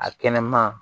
A kɛnɛma